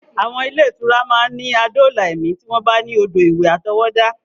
Àwọn ilé-ìtura máa ní adóòlà ẹ̀mí tí wọ́n bá ní odò ìwẹ̀ àtọwọ́dá.